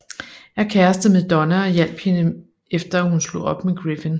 Er kæreste med Donna og hjalp hende efter at hun slog op med Griffin